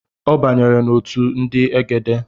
Ọ banyere n’otu ndị egede